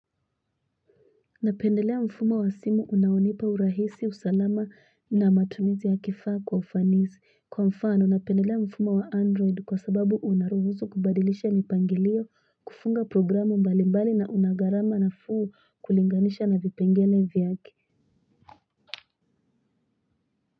Napendelea mfumo wa simu unaonipa urahisi usalama na matumizi ya kifaa kwa ufanisi kwa mfano napendelea mfumo wa android kwa sababu unaruhusu kubadilisha mipangilio kufunga programu mbalimbali na unagarama nafuu kulinganisha na vipengele vyake.